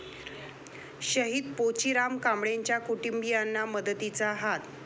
शहीद पोचीराम कांबळेंच्या कुटुंबीयांना मदतीचा हात